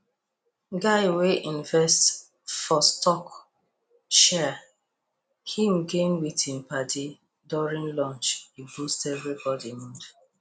guy wey invest for stock share him gain with him padi during lunch e boost everybody mood